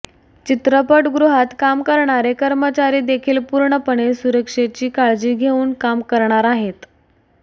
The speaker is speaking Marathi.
चित्रपटगृहात काम करणारे कर्मचारी देखील पूर्णपणे सुरक्षेची काळजी घेऊन काम करणार आहेत